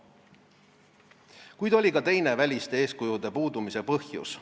Kuid oli ka teine väliste eeskujude puudumise põhjus.